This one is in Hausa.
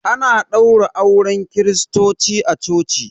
Ana ɗaura auren kiristoci a coci